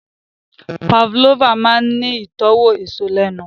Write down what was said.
Pavlova máa ń ní ìtọ́wò èso lẹ́nu